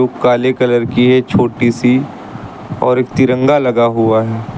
काले कलर की है छोटी सी और एक तिरंगा लगा हुआ है।